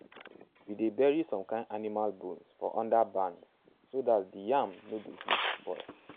we dey bury some kin animal bones for under barn so day di yam no go fit spoil.